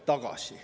Aitäh!